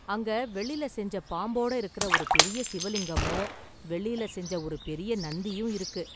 அங்க வெள்ளில செஞ்ச பாம்போட இருக்குற ஒரு பெரிய சிவலிங்கமும் வெள்ளியில செஞ்ச ஒரு பெரிய நந்தியும் இருக்கு.